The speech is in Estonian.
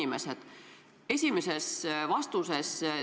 Te ütlesite, et pole vastust.